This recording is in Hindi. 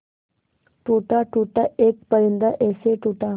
टूटा टूटा एक परिंदा ऐसे टूटा